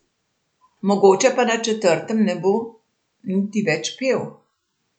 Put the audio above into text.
Mogoče pa na četrtem ne bom niti več pel.